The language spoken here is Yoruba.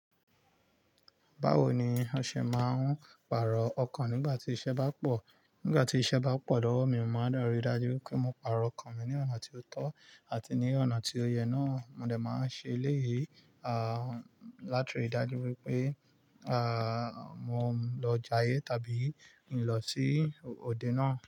Báwo ni ó ṣe máa ń pàrọ̀ ọkàn nígbà tí iṣẹ́ bá pọ̀? Nígbà tí iṣẹ́ bá pọ̀ lọ́wọ́ mi, máa deri dájú wipé mo pàrọ̀ ọkàn mi ní ọ̀nà tí ó tọ́ àti ní ọ̀nà tí ó yẹ náà. Mo dẹ̀ máa ń ṣe eléyìi, látirí dájú wípé, mo lọ jayé tàbí kin lọ sí òde náà.